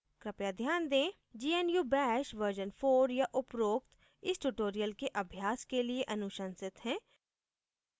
कृपया ध्यान दें gnu bash version 4 या उपरोक्त इस tutorial के अभ्यास के लिए अनुशंसित है